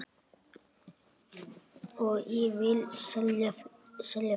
Og ég vil selja fleira.